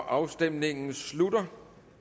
afstemningen slutter